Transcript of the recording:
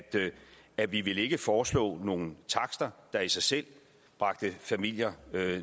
at vi ikke ville foreslå nogle takster der i sig selv bragte familier